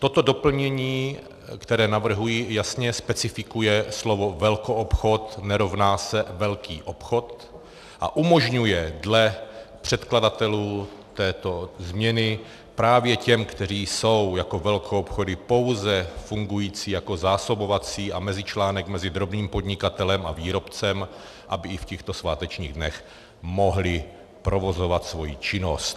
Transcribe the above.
Toto doplnění, které navrhuji, jasně specifikuje slovo velkoobchod nerovná se velký obchod a umožňuje dle předkladatelů této změny právě těm, kteří jsou jako velkoobchody pouze fungující jako zásobovací a mezičlánek mezi drobným podnikatelem a výrobcem, aby i v těchto svátečních dnech mohli provozovat svoji činnost.